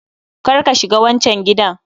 Kar ka shiga wancan gidan